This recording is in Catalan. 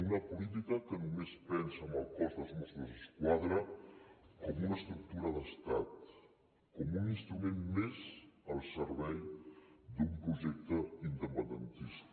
una política que només pensa en el cos dels mossos d’esquadra com una estructura d’estat com un instrument més al servei d’un projecte independentista